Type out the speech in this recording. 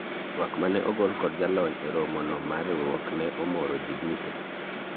twak mane ogol kod jalony e romo no mar riwruok ne omoro jii duto